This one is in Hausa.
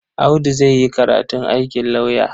Audu zai yi karatun aikin lauyer.